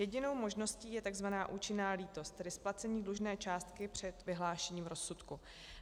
Jedinou možností je tzv. účinná lítost, tedy splacení dlužné částky před vyhlášením rozsudku.